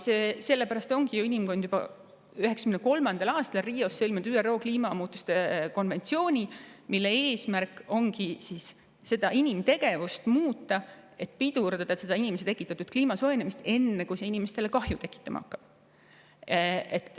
Sellepärast ongi inimkond juba 1993. aastal Rios sõlminud ÜRO kliimamuutuste konventsiooni, mille eesmärk ongi inimtegevust muuta, et pidurdada seda inimese tekitatud kliimasoojenemist enne, kui see inimestele kahju tekitama hakkab.